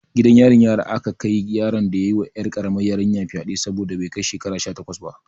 Gidan yarin yara aka kai yaron da ya yi ma 'yar karamar yarinyar fyade saboda bai kai shekara sha takwas ba.